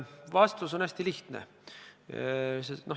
Vastus on hästi lihtne.